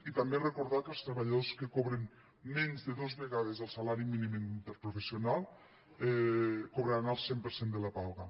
i també recordar que els treballadors que cobren menys de dos vegades el salari mínim interprofessional cobraran el cent per cent de la paga